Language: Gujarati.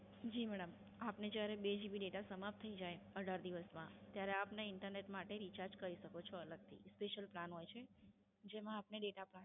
જી મેડમ, આપને જ્યારે બે GB data સમાપ્ત થઈ જાય અઢાર દિવસમાં ત્યારે આપના Internet માટે Recharge કરી શકો છોઅલગથી Special plan હોય છે જેમાં આપણે Data plan